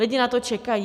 Lidi na to čekají.